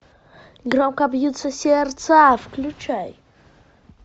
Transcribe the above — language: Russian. громко бьются сердца включай